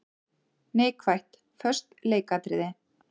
Neikvætt:- Föst leikatriði.